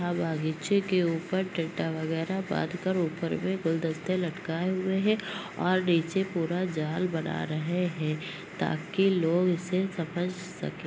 अ बागीचे के ऊपर टी टा वगैरह बाँध कर ऊपर पुरे गुलदस्ते लटकाए हुए हैं और नीचे पूरा जाल बना रहे हैं ताकि लोग इसे समझ सके।